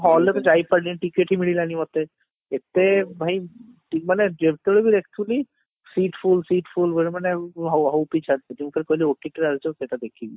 hall ରେ ମୁଁ ଯାଇପାରିଲିନି ticket ହିଁ ମିଳିଲାନି ମତେ ଏତେ ଭାଇ ମାନେ ଯେତେବେଳେ ବି seat full seat full ମାନେ ହ ହଉଛି